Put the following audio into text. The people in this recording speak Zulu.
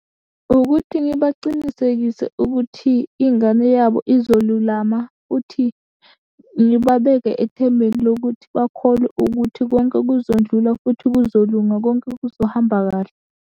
Ukuthi ngibacinisekise ukuthi, ingane yabo izolulama, futhi ngibabeke ethembeni lokuthi bakholwe ukuthi konke kuzondlula, futhi kuzolunga konke kuzohamba kahle.